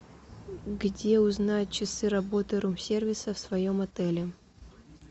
где узнать часы работы рум сервиса в своем отеле